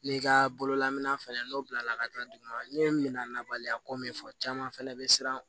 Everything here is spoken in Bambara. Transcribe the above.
N'i ka bololamina fɛnɛ n'o bilala ka taa duguma ne ye mina labaliya ko min fɔ caman fana bɛ siran